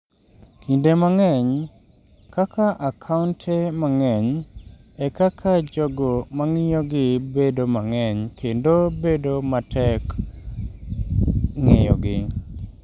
Kinde mang’eny, kaka akaunte mang’eny, e kaka jogo ma ng’iyogi bedo mang’eny kendo bedo matek ng’eyogi.